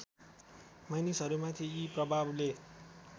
मानिसहरूमाथि यी प्रभावले